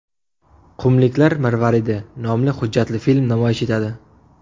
Qumliklar marvaridi” nomli hujjatli film namoyish etadi.